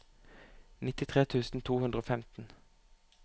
nittitre tusen to hundre og femten